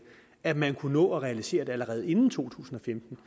at man kunne nå at realisere det allerede inden to tusind og femten